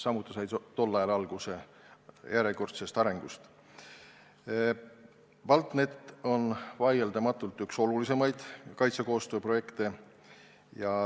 BALTNET on vaieldamatult üks olulisimaid kaitsekoostöö projekte.